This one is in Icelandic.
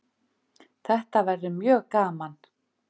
Þetta verður mjög gaman